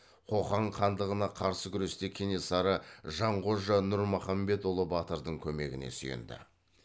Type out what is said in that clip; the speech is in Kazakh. қоқан хандығына қарсы күресте кенесары жанқожа нұрмұхамбетұлы батырдың көмегіне сүйенді